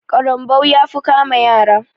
ƙarambau ya fi kama yara.